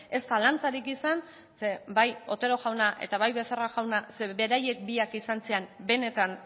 ez zalantzarik izan zeren bai otero jauna eta bai becerra jaunak zeren beraiek biak izan ziren benetan